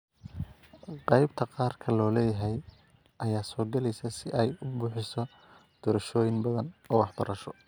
Qaybta gaarka loo leeyahay ayaa soo galaysa si ay u bixiso doorashooyin badan oo waxbarasho.